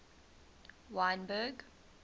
wynberg